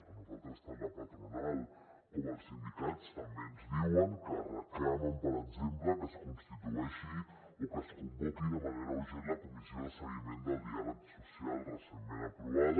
a nosaltres tant la patronal com els sindicats també ens diuen que reclamen per exemple que es constitueixi o que es convoqui de manera urgent la comissió de seguiment del diàleg social recentment aprovada